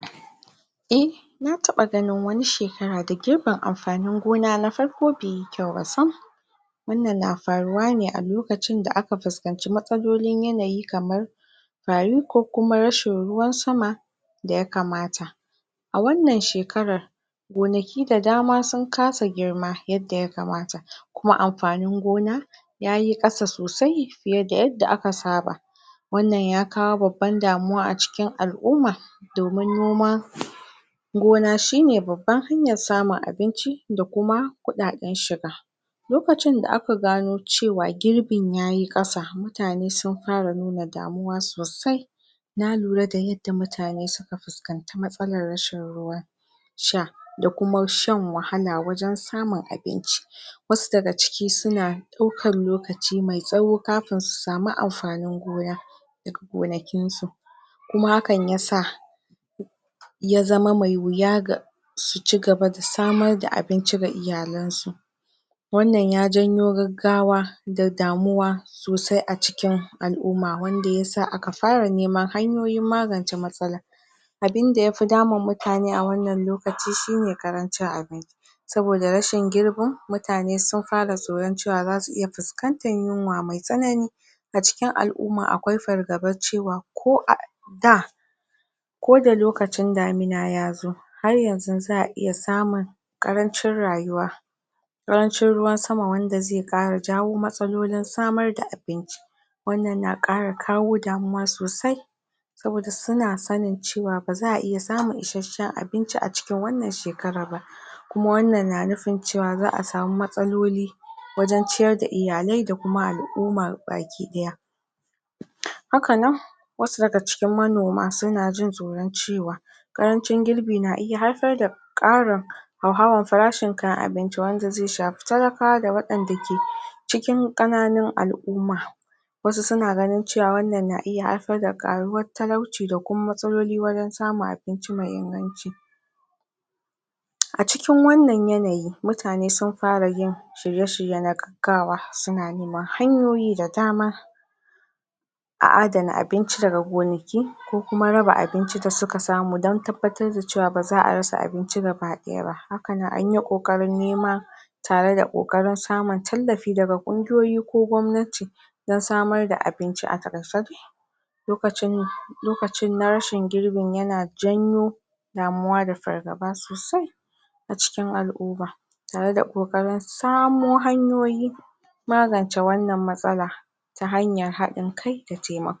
eh na ta ɓa ganin wani shekara da girbin amfanin gona na farko beyi kyau ba sam wannan na faruwa ne a lokacin da aka fuskanci matsalolin yanayi kamar fari ko kuma rashin ruwan sama da ya kamata a wannan shekarar gonaki da dama sun ka sa girma yadda ya kamata kuma amfanin gona yayi ƙasa sosai fiye da yadda aka saba wannan ya kawo babban damuwa a cikin al'umma domin noma gona shine babban hanyar samun abinci da kuma kuɗaɗen shiga lokacin da aka gano cewa girbin yayi ƙasa mutane sun fara nuna damuwa sosai na lura da yadda mutane suka fuskanta matsalar rashin ruwan sha da ku ma shan wahala wajen samun abinci wasu da ga ciki suna ɗaukar lokaci mai tsawo kafin su sami amfanin gona da ga gonakin su kuma hakan ya sa ya zama mai wuya ga su ci gaba da samar da abinci ga iyalan su wannan ya janyo gaggawa da damuwa sosai a cikin al'umma wanda ya sa aka fa ra neman hanyoyin magance matsalar abinda ya fi damun mutane a wannan lokacin shine ƙarancin abin yi saboda rashin girbin mutane sun fa ra tsoron cewa za su iya fuskantar yunwa mai tsanani a cikin al'umma akwai fargabar cewa ko a da ko da lokacin damina ya zo har yanzun za a iya samun karancin rayuwa karancin ruwan sama wanda zai kara jawo matsalolin samar da abinci wannan na kara kawo damuwa sosai saboda su na sanin cewa ba za a iya samun ishashshen abinci a cikin wannan shekarar ba kuma wannan na nufin ce wa za a samu matsaloli wajen ci yar da iyalai da al'umar baki ɗaya haka nan wasu da ga cikin manoma su na jin tsoron cewa ƙarancin girbi na iya haifar da ƙarin hauhawar farashin kayan abinci wanda zai shafi talakawa da waɗanda ke cikin ƙananun al'umma wasu su na ganin cewa wannan na iya haifar da karuwar talauci da kuma matsaloli wajen samun abinci mai inganci a cikin wannan yanayi mutane sun fara yin shirye shirye na gaggawa suna neman hanyoyi da dama a adana abinci daga gonaki ko kuma raba abinci da suka samu dan tabbatar da cewa ba za a rasa abinci gaba daya ba haka nan anyi kokarin neman tare da ƙoƙarin samun tallafi daga ƙungiyoyi ko gwamnati dan samar da abinci a taƙaicen lokacin lokacin na rashin girbin yana janyo damuwa da fargaba sosai a cikin al'uma tare da ƙoƙarin samo hanyoyin magance wannan matsala ta hanyar haɗin kai da taimak